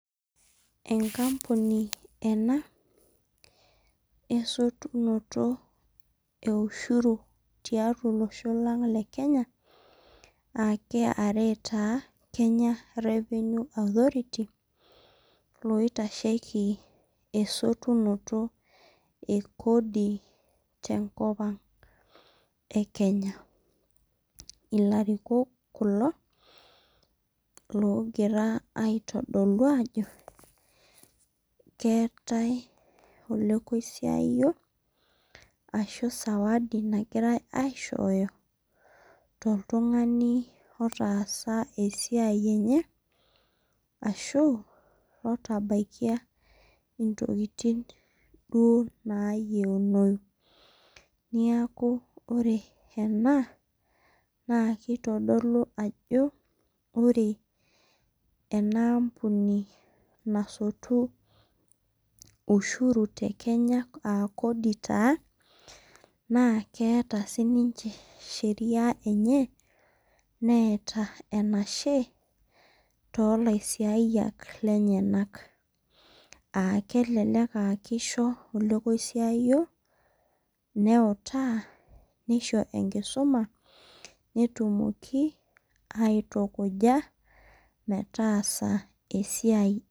Enkampuni ena esotunoto eushuri tiatua olosho lang lenye a KRA kenya revenue authority loitashieki esotunoto ekodi tenkop aang ekenya ilarikok kulo ogira aitodolu ajo keeta sawadi nagirai aishooyo toltungani otaasa esiai enye ashu otabaikia intokitin duo nayiunoyu neaku ore ena na kitadolu ajo ore enaampuni nasotu ushuru aa kodi na keeta siniche sheria enye meeta enashe tolasiyiak lenyenak, kelek aa kisho lasiayak neutaa nisho enkidumabnetimoki aitukuja metaasa esiai.